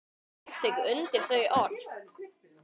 Ég tek undir þau orð.